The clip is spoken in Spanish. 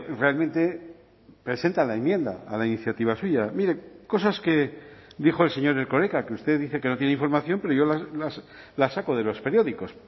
realmente presentan la enmienda a la iniciativa suya mire cosas que dijo el señor erkoreka que usted dice que no tiene información pero yo las saco de los periódicos